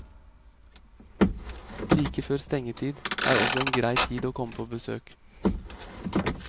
Like før stengetid er også en grei tid å komme på besøk.